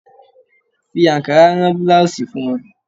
Fi ankara rán búláósì fún wọn.